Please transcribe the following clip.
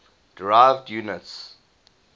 derived units